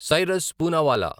Cyrus Poonawalla